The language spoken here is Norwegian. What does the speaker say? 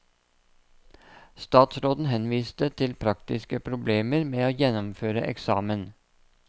Statsråden henviste til praktiske problemer med å gjennomføre eksamen.